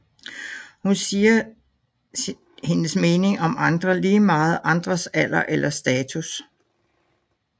Hun siger hendes mening om andre lige meget andres alder eller status